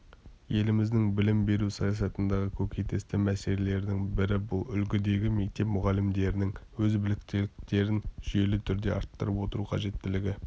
еліміздің білім беру саясатындағы көкейтесті мәселелердің бірі бұл үлгідегі мектеп мұғалімдерінің өз біліктіліктерін жүйелі түрде арттырып отыру қажеттілігі